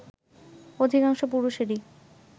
অধিকাংশ পুরুষেরই